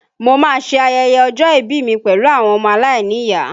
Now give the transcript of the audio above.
Mo máa ṣe ayẹyẹ ọjọ́ ìbí mi pẹ̀lú àwọn ọmọ aláìníyàá